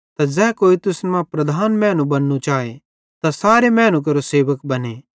त ज़ै कोई तुसन मां प्रधान मैनू बन्नू चाए त तै सारे मैनू केरो सेवक बने